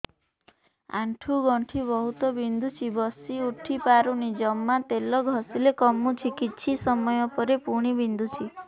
ଆଣ୍ଠୁଗଣ୍ଠି ବହୁତ ବିନ୍ଧୁଛି ବସିଉଠି ପାରୁନି ଜମା ତେଲ ଘଷିଲେ କମୁଛି କିଛି ସମୟ ପରେ ପୁଣି ବିନ୍ଧୁଛି